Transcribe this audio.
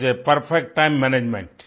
so perfect time management